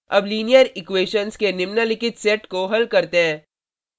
अब linear equations के निम्नलिखित सेट को हल करते हैं: